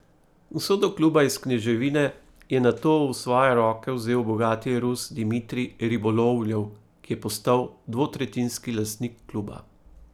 Usodo kluba iz kneževine je nato v svoje roke vzel bogati Rus Dimitrij Ribolovljev, ki je postal dvotretjinski lastnik kluba.